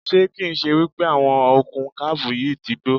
Ṣé kì ń ṣe wípé àwọn okùn kábù yìí ti gbó?